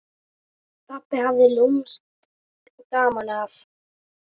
Pabbi hafði lúmskt gaman af.